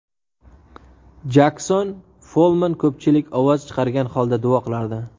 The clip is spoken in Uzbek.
Jakson Follmann Ko‘pchilik ovoz chiqargan holda duo qilardi.